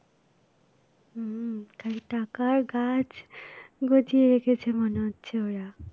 হম খালি টাকার গাছ গজিয়ে রেখেছে মনে হচ্ছে ওরা